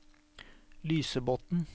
Lysebotn